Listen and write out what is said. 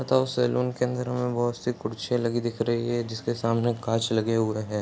अतः सैलून के अंदर में बहुत सी कुर्सियाँ लगी दिख रही है जिसके सामने काँच लगे हुए है।